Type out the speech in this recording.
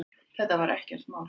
Þetta var ekkert mál.